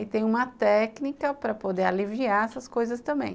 E tem uma técnica para poder aliviar essas coisas também.